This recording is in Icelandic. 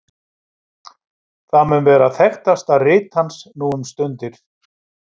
Það mun vera þekktasta rit hans nú um stundir.